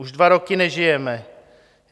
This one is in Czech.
Už dva roky nežijeme.